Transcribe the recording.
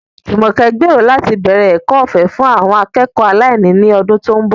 Jumoke gbèrò láti bẹ̀rẹ̀ ẹ̀kọ́ ọ̀fẹ́ fún àwọn akẹ́kọ̀ọ́ aláìní ní ọdún tó ń bọ̀.